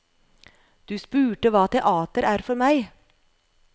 Du spurte hva teater er for meg.